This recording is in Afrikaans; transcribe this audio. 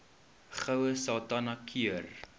goue sultana keur